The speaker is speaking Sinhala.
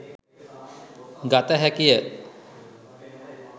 ගත හැකිය.